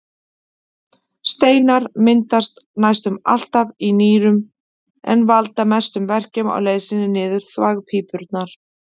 Steinar myndast næstum alltaf í nýrunum en valda mestum verkjum á leið sinni niður þvagpípurnar.